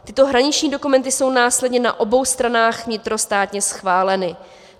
Tyto hraniční dokumenty jsou následně na obou stranách vnitrostátně schváleny.